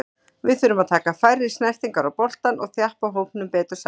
Við þurfum að taka færri snertingar á boltann og þjappa hópnum betur saman.